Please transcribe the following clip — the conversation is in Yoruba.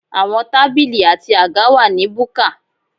Àwọn tábìlì àti àga wà ní búkà.